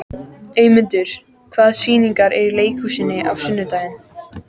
Eymundur, hvaða sýningar eru í leikhúsinu á sunnudaginn?